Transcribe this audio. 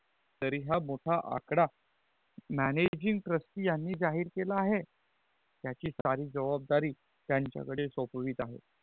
तरी हा मोठा आकड managing trustee यानि जाहीर केला आहे त्याची सारी जबाबदारी त्यांच्या कड़े सोपवित आहे